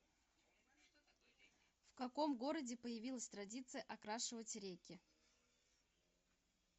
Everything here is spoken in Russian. в каком городе появилась традиция окрашивать реки